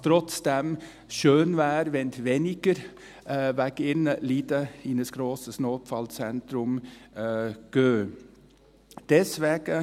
Trotzdem, schön wäre, wenn weniger wegen ihrer Leiden in ein grosses Notfallzentrum gingen.